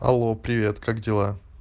алло привет как дела